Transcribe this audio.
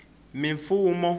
mifumo